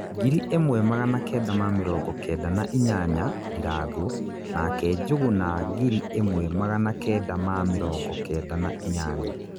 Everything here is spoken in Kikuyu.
ngiri ĩmwe magana Kenda ma mĩrongo kenda na inyanya - Ndirangu nake Njuguna ngiri ĩmwe magana Kenda ma mĩrongo kenda na inyanya.